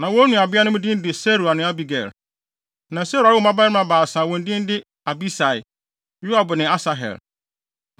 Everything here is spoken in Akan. Na wɔn nuabeanom din de Seruia ne Abigail. Na Seruia woo mmabarima baasa a wɔn din yɛ Abisai, Yoab ne Asahel.